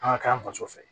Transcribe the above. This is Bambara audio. An ka k'an faso fɛ